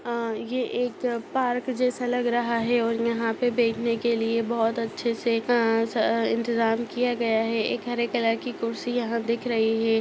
अ ये एक पार्क जैसा लग रहा है और यहाँ पे बैठने के लिए बहुत अच्छे से क अ इंतजाम किया गया है एक हरे कलर की कुर्सी यहाँ दिख रही हैं।